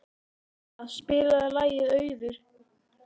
Eskja, spilaðu lagið „Auður“.